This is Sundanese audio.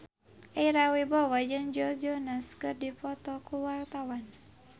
Ira Wibowo jeung Joe Jonas keur dipoto ku wartawan